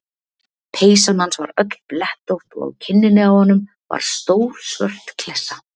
Peysan hans var öll blettótt og á kinninni á honum var stór svört klessa.